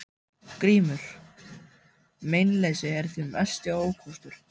GRÍMUR: Meinleysið er þinn mesti ókostur.